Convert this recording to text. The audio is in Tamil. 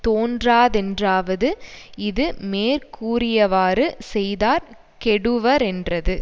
தோன்றாதென்றாவது இது மேற்கூறியவாறு செய்தார் கெடுவரென்றது